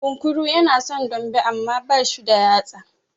Kunkuru ya na son dambe, amma ba shi da yatsa.